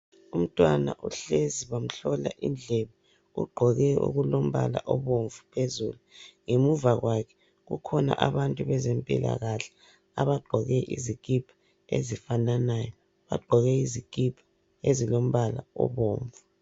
Umntwana uhlezi bamhlola indlebe ugqoke okulombala obomvu phezulu ngemuva kwakhe kukhona abantu bezempilakahle abagqoke izikipa ezifananayo bagqoke izikipa ezilombala obomvu.